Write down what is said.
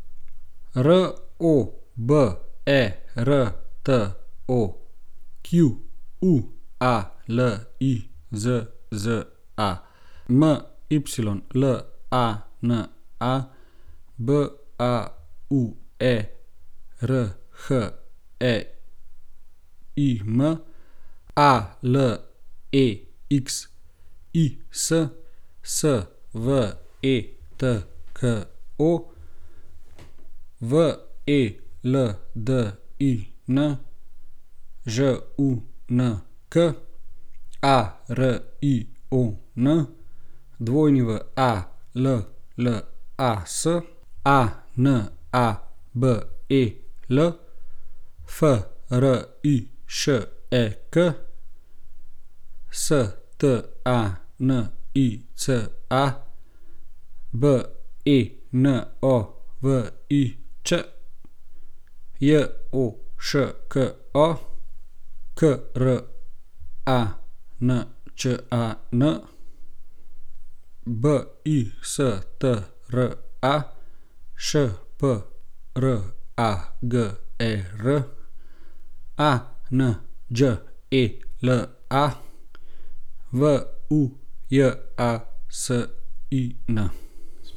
Roberto Qualizza, Mylana Bauerheim, Alexis Svetko, Veldin Žunk, Arion Wallas, Anabel Frišek, Stanica Benović, Joško Krančan, Bistra Šprager, Anđela Vujasin.